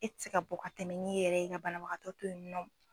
E ti se ka bɔ ka tɛmɛ n'i yɛrɛ ye ka banabagatɔ toyinɔ.